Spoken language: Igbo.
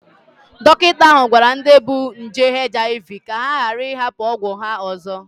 Dọkịta ahụ gwara ndị bu nje HIV ka ha ghara ịhapụ ọgwụ ya ọzọ